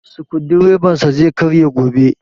Sukudireban sa zai karye gobe